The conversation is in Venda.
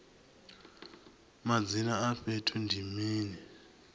madzina a fhethu ndi mini